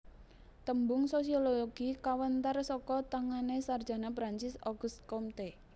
Tembung sosiologi kawentar saka tangané sarjana Perancis August Comte